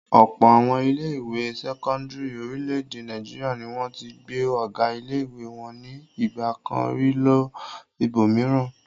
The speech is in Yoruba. Ọ̀pọ̀ àwọn ilé-ìwé sẹ́kọ́ndárì orílẹ̀-èdè Nàìjíríà ni wọ́n ti gbé ọ̀gá ilé-ìwé wọn ní ìgbà kan rí lọ ibòmíràn.